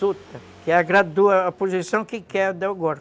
Suta, que gradua a posição que quer